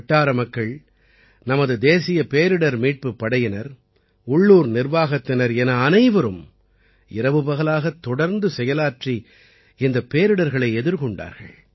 வட்டார மக்கள் நமது தேசிய பேரிடர் மீட்புப் படையினர் உள்ளூர் நிர்வாகத்தினர் என அனைவரும் இரவுபகலாகத் தொடர்ந்து செயலாற்றி இந்தப் பேரிடர்களை எதிர்கொண்டார்கள்